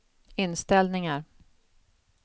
inställningar